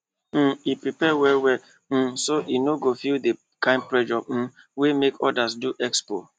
um e prepare well well um so e no go feel the kind pressure um wey make others do expo